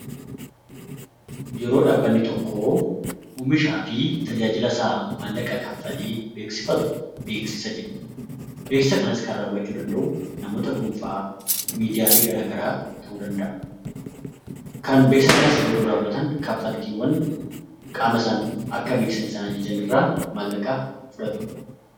Yeroo dhaabbanni tokko maallaqa kaffalee oomisha isaa beeksifatu beeksisaa jenna beeksisa kanas kan raawwatu namoota dhuunfaa miidiyaalee adda addaa ta'uu danda'a. Beeksisa kana yeroo raawwatanis kaffaltii qaama beeksisaniif sanarraa maallaqa fudhatu